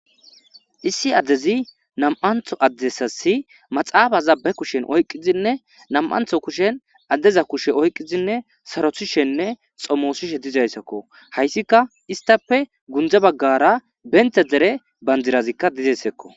issi addezi nam7antho addessasi maxaafazabbe kushen oyqqizinne nam7antho kushen addeza kushe oyqqizinne sarothishenne xommoosishe dizayssakko hayssika istape gundze baggara bente dere banjirazikka dizessekko